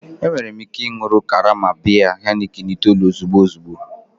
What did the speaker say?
Enwere m ike ị ịṅụ karama biya Heineken itoolu ozugbo ozugbo